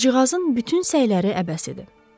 Qızcığazın bütün səyləri əbəs idi.